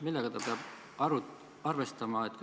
Millega ta peab arvestama?